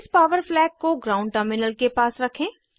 इस power flag को ground terminal के पास रखें